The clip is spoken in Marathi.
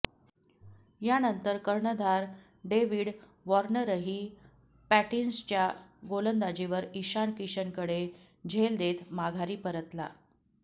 यानंतर कर्णधार डेव्हिड वॉर्नरही पॅटिन्सनच्या गोलंदाजीवर इशान किशनकडे झेल देत माघारी परतला